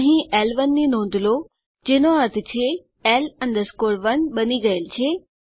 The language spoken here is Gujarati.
અહીં એલ1 ની નોંધ લો જેનો અર્થ છે L 1 બની ગયેલ છે